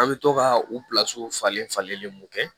An bɛ to ka u falen falen mun kɛ